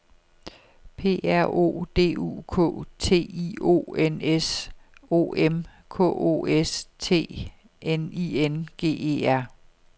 P R O D U K T I O N S O M K O S T N I N G E R